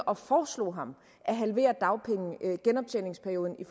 og foreslog ham at halvere genoptjeningsperioden i